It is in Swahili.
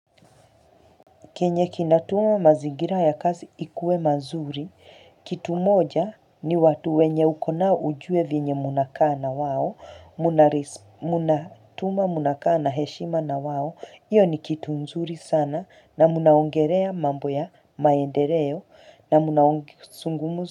Kenye kinatuma mazigira ya kazi ikue mazuri, kitu moja ni watu wenye ukonao ujue vinye munakana wao, munatuma, munakaana, heshima na wao, iyo ni kitu mzuri sana na munaongerea mambo ya maendereo na munaongi sungumuza.